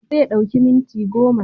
Zai ɗauki minti goma